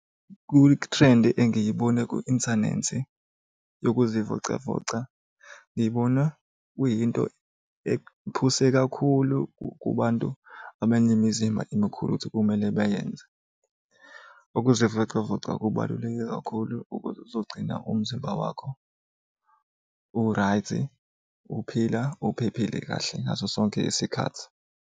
Kwithrendi angiyibone ku-inthanethi yokuzivocavoca ngibone kuyinto ephuse kakhulu kubantu abanemizimba emikhulu ukuthi kumele bayenze. Ukuzivocavoca kubaluleke kakhulu ukuzogcina umzimba wakho u-right uphila uphephile kahle ngaso sonke isikhathi.